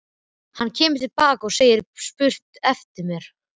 Hann kemur til baka og segir spurt eftir mér.